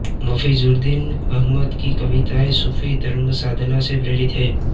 मफिजुद्दीन अहमद की कविताएँ सूफी धर्मसाधना से प्रेरित हैं